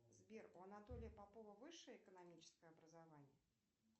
сбер у анатолия попова высшее экономическое образование